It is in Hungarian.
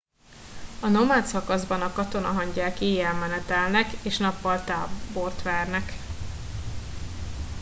a nomád szakaszban a katonahangyák éjjel menetelnek és nappal tábort vernek